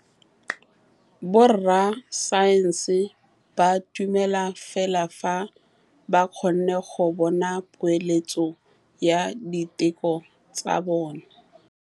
Borra saense ba dumela fela fa ba kgonne go bona poeletsô ya diteko tsa bone.